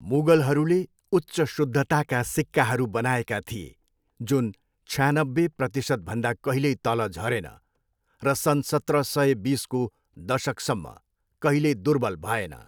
मुगलहरूले उच्च शुद्धताका सिक्काहरू बनाएका थिए, जुन छयानब्बे प्रतिशतभन्दा कहिल्यै तल झरेन, र सन् सत्र सय बिसको दशकसम्म कहिल्यै दुर्बल भएन।